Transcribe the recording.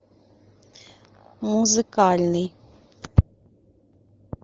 музыкальный